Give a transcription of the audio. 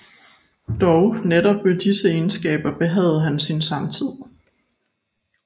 Dog netop ved disse egenskaber behagede han sin samtid